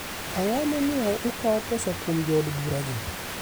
Ang'o momiyo ukawo pesa kuom jo odbura gi?